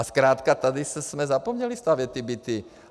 A zkrátka tady jsme zapomněli stavět ty byty.